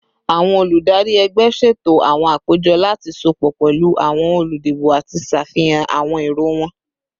Awọn oludari ẹgbẹ ṣeto awọn apejọ lati sopọ pẹlu awọn oludibo ati ṣafihan awọn ero wọn